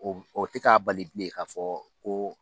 O tɛ k'a bali bilen k'a fɔ ko